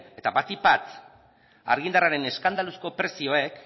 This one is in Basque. eta batipat argindarraren eskandaluzko prezioek